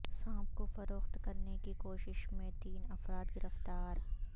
سانپ کو فروخت کرنے کی کوشش میں تین افراد گرفتار